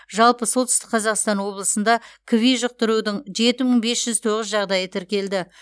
жалпы солтүстік қазақстан облысында кви жұқтырудың жеті мың бес жүз тоғыз жағдайы тіркелді